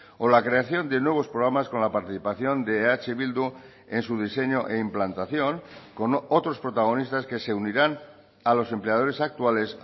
o la creación de nuevos programas con la participación de eh bildu en su diseño e implantación con otros protagonistas que se unirán a los empleadores actuales